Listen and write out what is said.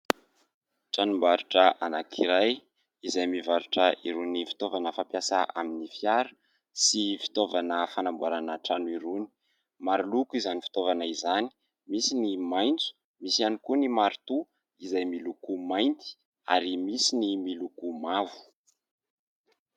Tranombarotra anankiray izay mivarotra irony fitaovana fampiasa amin'ny fiara sy fitaovana fanamboarana trano irony. Maro loko izany fitaovana izany, misy ny maitso, misy ihany koa ny marotoa izay miloko mainty ary misy ny miloko mavo.